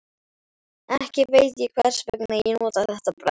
Ekki veit ég hversvegna ég notaði þetta bragð.